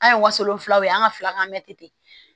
An ye wasolon filaw ye an ka fila kan mɛ ten